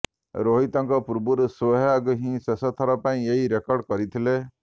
ରୋହିତଙ୍କ ପୂର୍ବରୁ ସେହ୍ୱାଗ ହିଁ ଶେଷଥର ପାଇଁ ଏହି ରେକର୍ଡ କରିଥିଲେ